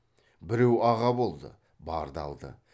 біреу аға болды барды алды